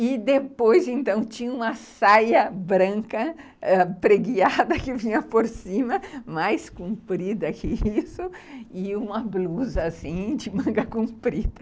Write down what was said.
E depois então, tinha uma saia branca ãh pregueada que vinha por cima, mais comprida que isso, e uma blusa assim, de manga comprida.